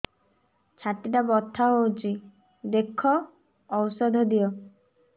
ଛାତି ଟା ବଥା ହଉଚି ଦେଖ ଔଷଧ ଦିଅ